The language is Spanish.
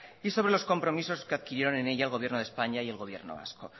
y sobre los compromisos que adquirieron en ella el gobierno de españa y el gobierno vasco